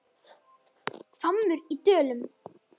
HVAMMUR Í DÖLUM